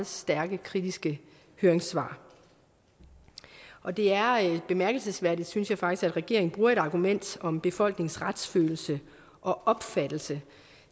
stærkt kritiske høringssvar og det er bemærkelsesværdigt synes jeg faktisk at regeringen bruger et argument om befolkningens retsfølelse og opfattelse